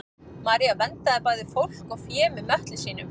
maría verndaði bæði fólk og fé með möttli sínum